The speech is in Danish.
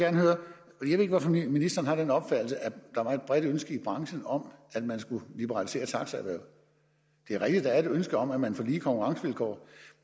lidt ikke hvorfor ministeren har den opfattelse at der var et bredt ønske i branchen om at man skulle liberalisere taxaerhvervet det er rigtigt at der ønske om at man får lige konkurrencevilkår